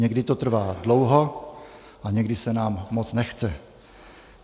Někdy to trvá dlouho a někdy se nám moc nechce.